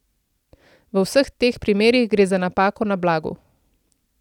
V vseh teh primerih gre za napako na blagu.